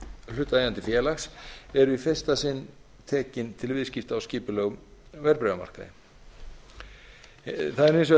hlutaðeigandi félags voru í fyrsta sinn tekin til viðskipta á skipulegum verðbréfamarkaði það er hins vegar